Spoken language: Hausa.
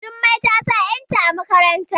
Jummai ta sa yarta a makarantar